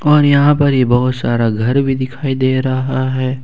और यहां पर ही बहुत सारा घर भी दिखाई दे रहा है।